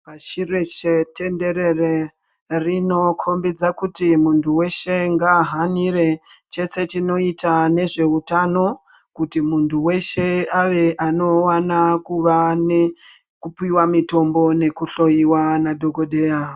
Pashi reshe tenderere rinokombidza kuti muntu weshe ngaahanire chese chinoita nezveutano kuti muntu weshe ave anowana kuva nekupiwa mutombo nekuhloyiwa nadhokodheya.